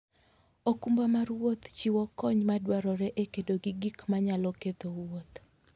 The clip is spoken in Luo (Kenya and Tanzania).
okumba mar wuoth chiwo kony madwarore e kedo gi gik manyalo ketho wuoth.